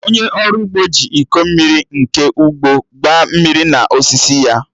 Onye ọrụ ugbo ji iko mmiri nke ugbo gbaa mmiri na osisi ya